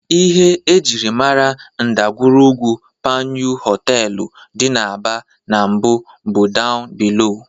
Ihe e jiri mara ndagwurugwu Panyu họteelụ dị n'Aba n'mbụ bụ "down below".